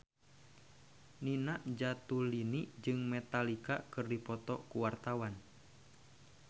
Nina Zatulini jeung Metallica keur dipoto ku wartawan